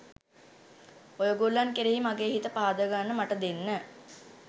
ඔයගොල්ලන් කෙරෙහි මගේ හිත පහද ගන්න මට දෙන්න.